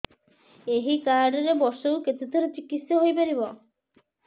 ଏଇ କାର୍ଡ ରେ ବର୍ଷକୁ କେତେ ଥର ଚିକିତ୍ସା ହେଇପାରିବ